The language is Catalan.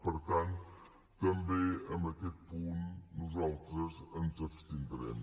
per tant també en aquest punt nosaltres ens abstindrem